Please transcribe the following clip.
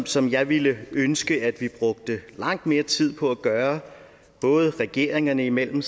som jeg ville ønske at vi brugte langt mere tid på at gøre både regeringerne imellem